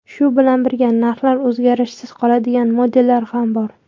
Shu bilan birga, narxlari o‘zgarishsiz qoladigan modellar ham bor.